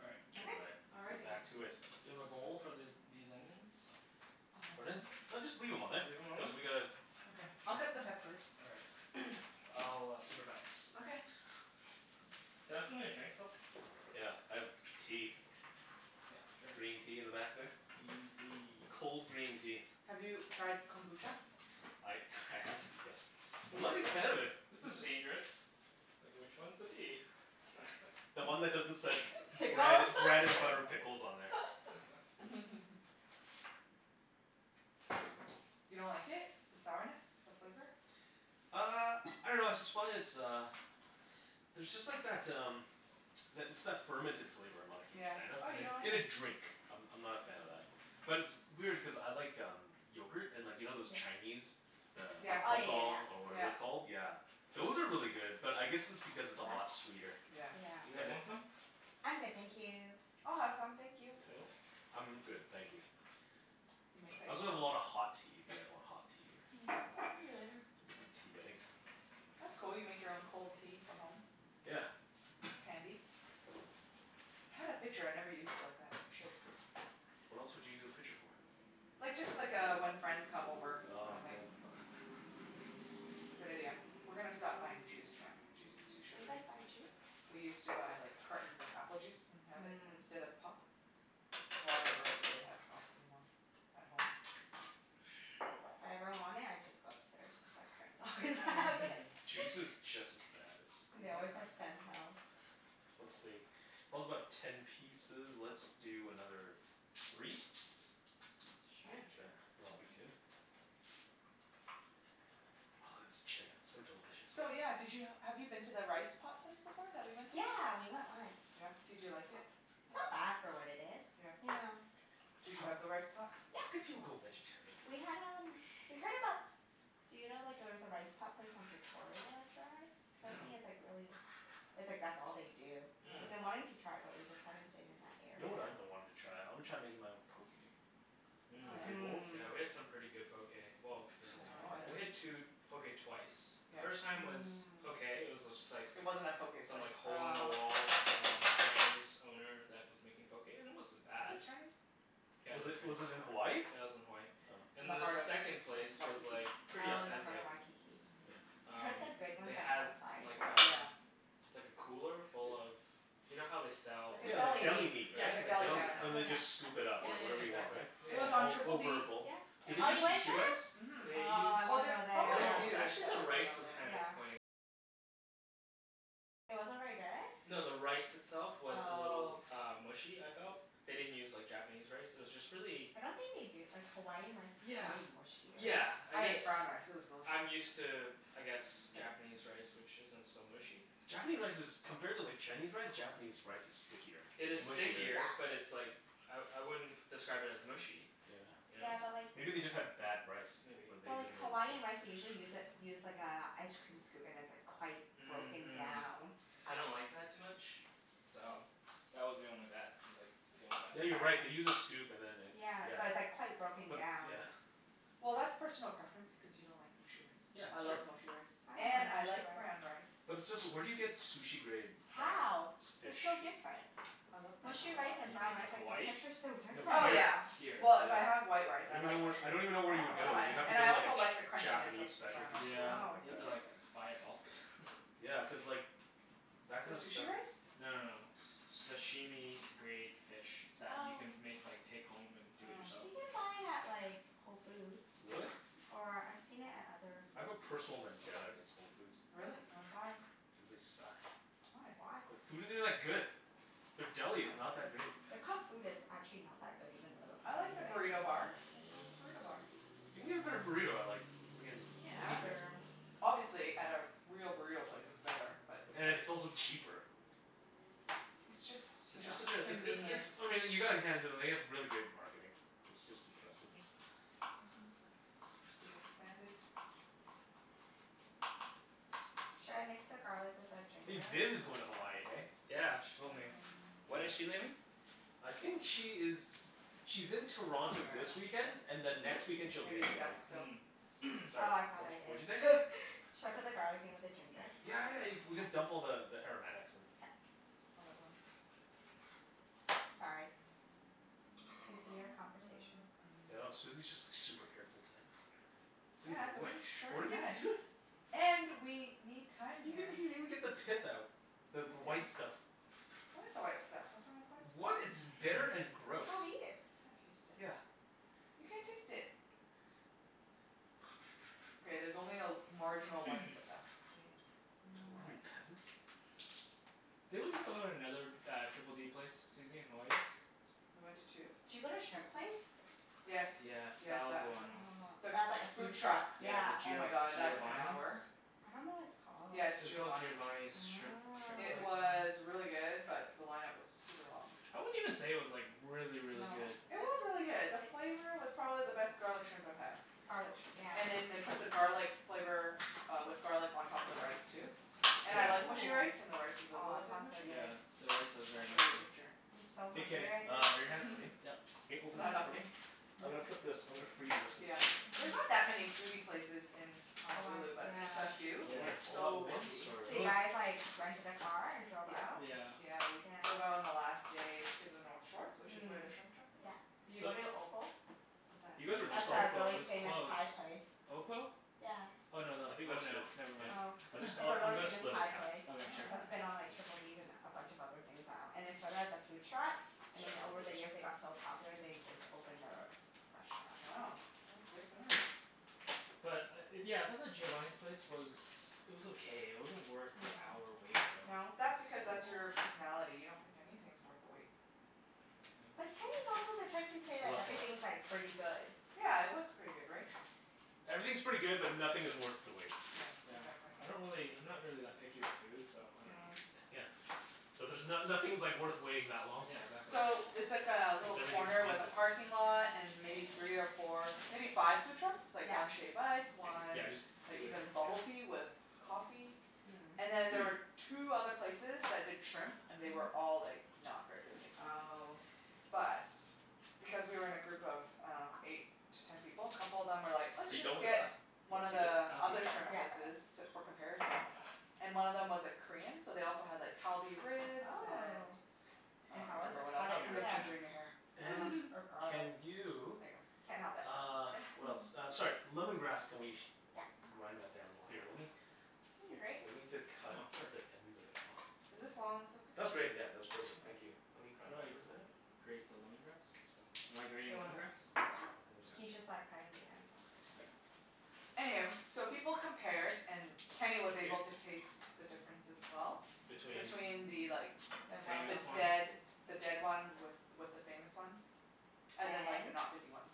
All right. All Okay. right. Let's get Alrighty. back to it. Do you have a bowl for this these onions? Pardon? No. just leave them on Just leave them on Cuz there? we gotta Okay, I'll cut the peppers. All right. I'll supervise. Okay Can I have something to drink, Phil? Yeah, I have tea. Yeah, sure. Green tea in the back there. Green tea. Cold green tea. Have you tried kombucha? I I have, yes. I'm not a big fan of it. This is dangerous. Like, which one's the tea? The one that doesn't said bread Pickles bread and butter pickles on there. You don't like it? The sourness? The flavor? Uh, I dunno I just find it's uh, there's just like that um that it's that fermented flavor I'm not a huge Yeah. fan of Oh, you don't like In a it? drink, I'm I'm not a fan of that. But it's- it's weird, cuz I like um, yogurt. And you know those Chinese, the Yeah, Oh, yeah, yeah, pathal, or whatever it's yeah. called. yeah. Yeah, those are really good. But I guess it's because it's a lot sweeter. That's You yeah. Yeah. guys want some? I'm good thank you. I'll have some, thank you. Phil? I'm good, thank you. You make that I also have yourself? a lot of hot tea, if you guys want hot tea or Maybe later. I want tea bags. That's cool, you make your own cold tea for home. Yeah. That's handy. I had a pitcher, I never used it like that. I should. What else would you use a pitcher for? Like, just like uh, when friends come over kinda thing. Oh, yeah. It's a good idea. We're gonna stop buying juice now. Juice is too You sugary. guys buy juice? We used to buy like cartons of apple juice and have it Mhm. instead of pop. Well, I never really have pop anymore at home. If I ever want it, I just go upstairs, cuz my parents always have it. Juice is just as bad And they as always Exactly. have Sental. Let's see. about ten pieces. Let's do another, three? Sure. Yeah, Yeah, sure. and it'll be good? Ah this chicken, so delicious. So yeah, did you have you been to the rice pot place before that we went to? Yeah, we went once. Yeah? did you like it? It's not bad for what it is. Yeah Yeah. Did you have the rice pot? How could Yeah. you go vegetarian? We had um we heard about. Do you know like there's a rice pot place on Victoria I tried? Mm- mm. Apparently, it's like really it's like that's all they do. We've Mhm. been wanting to Mhm. try it, but we just haven't been in that You know area. what I've been wanting to try? I want to try making my own. Poke Oh Mhm. yeah? bowls? Mhm, yeah. Mhm. Yeah, we had some pretty good poke. Well, In we had two Hawaii poke twice. The Yeah. first time was okay. It was just like It wasn't a poke Some place. like hole in Mmm. the Oh. wall um, Cantonese owner that was making poke and it wasn't Was bad. it Chinese? Yeah it Was was it was it in Hawaii? Chinese. Yeah it was in Hawaii. Oh. In the And the heart of second Wa- place was Waikiki. like, pretty Oh, in the heart authentic. of Waikiki. Mhm. Oh. I heard Um, that good they ones had like um Yeah. like a cooler full of, you know how they sell Like a like Yeah, like deli deli Yeah, meat, meat. Like a right? like deli deli counter. And then they Yeah, Yeah, just scoop it yeah, up, yeah. like whatever yeah, you Yeah. want, exactly. Yeah, It was right? on All Triple D yeah. over a bowl. Yeah. Did and they Oh you use the Beach went sushi Street, rice? there? mhm. Oh, I Well, wanna there's go probably a there. few that have been on there. Yeah. No, the rice itself was a little Oh. uh mushy, I felt. They didn't use like Japanese rice, it was just really I don't think they do, like Hawaiian rice is Yeah, pretty mushier. yeah, I I guess ate brown rice. It was delicious. I'm used to, I guess Japanese rice which isn't so mushy. Japanese rice is compared to like Chinese rice, Japanese rice is stickier, It it's is It's sticky, mushier stickier, but yeah. it's like, I I wouldn't describe it as mushy, you know? Yeah. Yeah, but like Maybe they just had bad rice, Maybe or they But like Hawaiian rice, they usually use a use like a ice cream scoop and like it's quite broken Mhm down. I don't like that too much, so that was the only that like that was the only Yeah, you're right. They bad thing. use a scoop and then it's, Yeah, yeah. so it's like quite broken But, down. yeah. Well, that's personal preference, cuz you don't like mushy rice. Yeah I that's true. love mushy rice I don't and mind I mushy like brown rice. rice. But where do you get sushi-grade, uh How? They're fish? so different. I love brown In Mushy rice Hawa- and you brown mean rice. rice, in like the Hawaii? texture's so No, different. Oh here, yeah, here, Here. well, if I have yeah. white rice, I I don't even like kno- mushy I rice. don't even know where you would I don't go. mind. You'd have to Oh. And go I to also like the a crunchiness of Japanese brown specialty rice. store or Yeah, Oh, something like you have that. to like interesting. buy it bulk. Yeah, cuz like that The kind of stuff sushi rice? No no it's no, s- sashimi grade fish that you Oh. can make like take home and do it Oh. yourself. You can buy it at like, Whole Foods. Really? Or I've seen it at other I have a grocery personal vendetta stores. against Whole Foods. Really? Why? Why? Cuz they suck. Why? Why? The food isn't that good. Their deli is not that great. Their cooked food is actually not that good, even though it looks I like the amazing. burrito bar. Nothin' wrong with the burrito bar. You can get a better burrito I like. Yeah. It's fair. Obviously, at like a real burrito place, it's better. But it's And it's like also cheaper. It's It's just you know, just such a it's it's convenience. it's I mean you gotta hand it to them, they have really great marketing. It's just impressive. Mhm. They've expanded. Should I mix the garlic with the Hey, ginger? Vin is going to Hawaii, hey? Yeah, she told me. Um When When? is she leaving? I think she is, she's in I'm Toronto not this sure, weekend and ask then next Phillip. weekend, she'll be Maybe in you Hmm? should Hawaii. ask Phil. Mhm Sorry, Oh, I thought wha- I what'd you say? did Should I put the garlic in with the ginger? Yeah, yeah, you we can dump all the the aromatics in. K. All at once. Sorry, continue your conversation. I know, Susie's just like super careful with that. Susie, Yeah it's a wha- really what are sharp you knife. doi-? And, we need time You didn't here. even even get the pith No out, the I the didn't. white stuff. I like the white stuff. What's wrong with the white What? stuff? It's bitter and You gross." don't Can't eat it. taste Yeah. it. You can't taste it. Okay, there's only a marginal white stuff, okay? It's What are we? fine. Peasants? Didn't we go to another uh, Triple D place Susie, in Hawaii? We went to two? Did you go to shrimp place? Yes, Yes, yes, that was that the was line it. Ah, The one. that's like a food food truck, truck. Yeah, the yeah. Oh Gio- my god that took an Giovani's. hour. I don't know what it's called. Yeah it's It was called Giovani's. Giovani's shrimp shrimp It place or Oh. was something? really good, but the line-up was super long. I wouldn't even say it was like, really, really No? good It was really good. The flavor was probably the best garlic shrimp I've had. Garlic shrimp, yeah. And then they put the garlic flavor uh, with garlic on top of the rice too. And I Yeah. like mushy rice and the rice was Ooh, a aw, little bit sounds so mushy. Yeah, good. the rice was I'll very show ya a mushy. picture. I'm so Hey hungry Kenny, right uh now are your hands clean? Yep. Hey it's open this not up for me? helping? I'm Nope. gonna put this I'm gonna freeze the rest of this Yeah. chicken. There's not that Hm. many foodie places in Hawaii, Honolulu, but just the yeah. few who Yeah. Want get it all at so once, busy. or? So It you was guys like, rented a car and drove Yeah, out? Yeah. yeah we drove out Yeah. on the last day to the north shore, which is Mhm, where the shrimp truck is. yeah. Did you So go to Opal? What's that? You guys were That's just on No, a the Opal, it really was famous closed. Thai place. Opal? Yeah. Oh, no tha- I think oh that's good, no, never m- mind. Oh, I'll jus- it's a really I'm gonna famous split it Thai half. place Oh Okay, sure. That's wow. been on Triple Ds and a bunch of other things now. And they started as a food truck So I have and then to over open the this. years they got so popular, they just opened their restaurant. Wow, that's good for them. But uh yeah, I thought the Giovani's place was it was okay. It wasn't worth the hour Mhm. wait though. No? That's So because, long. that's your personality. You don't think anything's worth the wait. But Kenny's Yeah. also the type to say Hold like, on, hold on. everything's like, pretty good. Yeah, it was pretty good, right? Everything's pretty good, but nothing is worth the wait. Yeah, Yeah, exactly. I don't really I'm not really that picky with food so I don't know. Mm. Yeah, so there's no- nothing's like worth waiting that long Yeah, for. exactly. Cuz So, it's like a little everything's corner with decent. a parking lot and maybe three or four, maybe five food trucks? Like Yeah. one shave ice, one yeah just like leave it here, even bubble tea yeah. with coffee. And then there Mm. were two other places that did shrimp. And they were Mhm. all like, not very busy. Oh. But, because we were in a group of I dunno, eight to ten people, a couple of them were like, "Let's Are you just going to get one of the other shrimp places". I'll keep it Yeah. for comparison. And one of them was like Korean, so they also had like Kalbi ribs and Oh. And I And don't how was remember it? what How else. did it Kalbi You have ribs, compare? ginger in your hair. yeah. And or can garlic. There you, ya go. Can't help it uh what else? Uh sorry. Lemon grass. Can we Yeah. grind that down more? Here lemme, Need a grate? we need to cut Oh sure. the ends of it off. Is this long ones That's okay? great yeah, All that's perfect. Thank you. Let right. me How grab do that I for a second. grate the lemon grass? Am I grating Wait, one lemon sec grass? Yeah, he's just Okay. like cutting the ends off or Okay. something. Anywho, so people compared and Thank Kenny you. was able to taste the difference as well. Between? between the like, the Famous one? dead the dead one with with the famous one. As in like the And? not busy one.